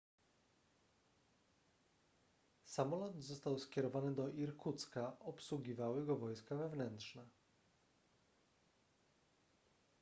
samolot został skierowany do irkucka obsługiwały go wojska wewnętrzne